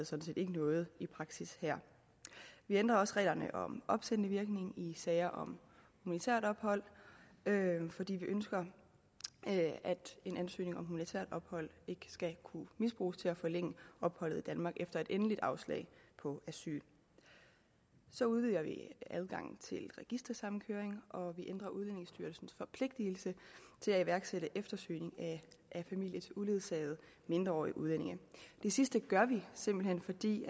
set ikke noget i praksis her vi ændrer også reglerne om opsættende virkning i sager om humanitært ophold fordi vi ønsker at en ansøgning om humanitært ophold ikke skal kunne misbruges til at forlænge opholdet i danmark efter et endeligt afslag på asyl så udvider vi adgangen til registersamkøring og vi ændrer udlændingestyrelsens forpligtelse til at iværksætte eftersøgning af familier til uledsagede mindreårige udlændinge det sidste gør vi simpelt hen fordi